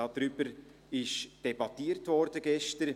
Darüber wurde gestern debattiert.